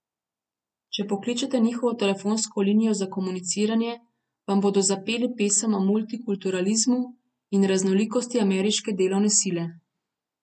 Če pokličete njihovo telefonsko linijo za komuniciranje vam bodo zapeli pesem o multikulturalizmu in raznolikosti ameriške delovne sile.